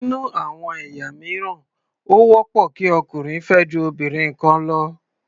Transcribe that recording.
Nínú àwọn ẹ̀yà mìíràn, ó wọ́pọ̀ kí ọkùnrin fẹ́ ju obìnrin kan lọ.